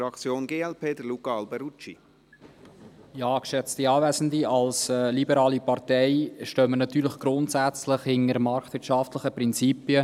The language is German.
Als liberale Partei stehen wir natürlich grundsätzlich hinter marktwirtschaftlichen Prinzipien.